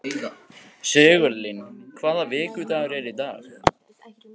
Sigurlín, hvaða vikudagur er í dag?